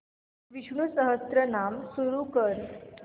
विष्णु सहस्त्रनाम सुरू कर